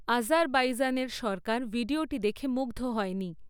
আজারবাইজানের সরকার ভিডিওটি দেখে মুগ্ধ হয়নি।